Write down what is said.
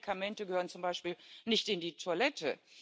Alte Medikamente gehören zum Beispiel nicht in die Toilette.